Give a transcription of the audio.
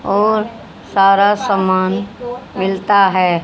और सारा सामान मिलता है।